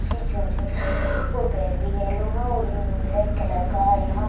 इसकी चोंच है और पैर भी येलो है और ब्लैक कलर का है यहाँ।